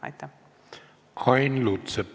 Ain Lutsepp, palun!